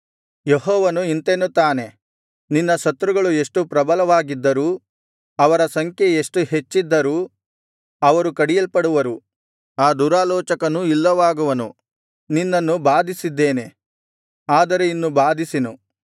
ಯೆಹೋವನು ಇಂತೆನ್ನುತ್ತಾನೆ ನಿನ್ನ ಶತ್ರುಗಳು ಎಷ್ಟು ಪ್ರಬಲವಾಗಿದ್ದರೂ ಅವರ ಸಂಖ್ಯೆ ಎಷ್ಟು ಹೆಚ್ಚಿದ್ದರೂ ಅವರು ಕಡಿಯಲ್ಪಡುವರು ಆ ದುರಾಲೋಚಕನು ಇಲ್ಲವಾಗುವನು ನಿನ್ನನ್ನು ಬಾಧಿಸಿದ್ದೇನೆ ಆದರೆ ಇನ್ನು ಬಾಧಿಸೆನು